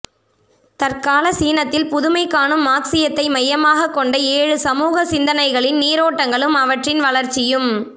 தற்கால சீனத்தில் புதுமைகாணும் மார்க்ஸியத்தை மையமாகக் கொண்ட ஏழு சமூக சிந்தனைகளின் நீரோட்டங்களும் அவற்றின் வளர்ச்சியும்